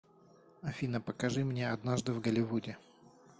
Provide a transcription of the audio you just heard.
афина покажи мне однажды в голливуде